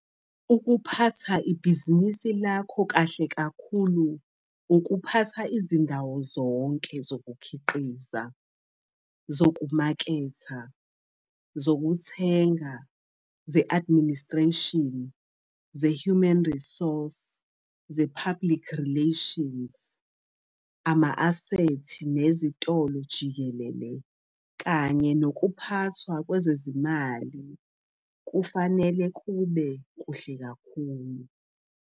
Ukuphatha ibhizinisi lakho kahle kakhulu ukuphatha izindawo zonke - zokukhiqiza, zokumaketha, zokuthenga, ze-administration, ze-human resource, ze-public relations, ama-asethi nezitolo jikelele kanye nokuphathwa kwezezimali kufanele kube kuhle kakhulu.